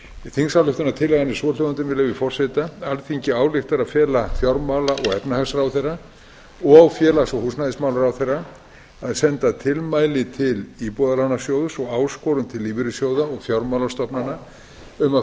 er svohljóðandi með leyfi forseta alþingi ályktar að fela fjármála og efnahagsráðherra og félags og húsnæðismálaráðherra að senda tilmæli til íbúðalánasjóðs og áskorun til lífeyrissjóða og fjármálastofnana um að